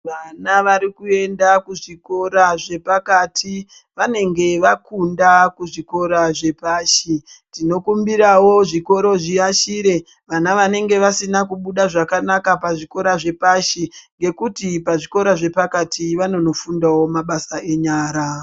Vana varikuenda kuzvikora zvepakati vanenge vakunda kuzvikora zvepashi . Tinokumbirawo zvikoro zviashire vana vanenge vasina kubuda zvakanaka pazvikora zvepashi ngekuti pazvikora zvapakati vanonofundawo mabasa enyara.